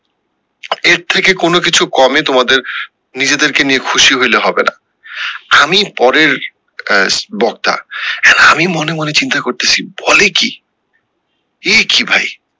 এর থেকে কোনো কিছু কমে তোমাদের নিজেরদের কে নিয়ে খুশি হইলে হবে না আমি পরের আহ বক্তা আমি মনে মনে চিন্তা করতেসি বলে কি এই কি ভাই।